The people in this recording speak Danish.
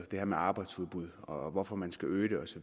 det her med arbejdsudbud og hvorfor man skal øge det osv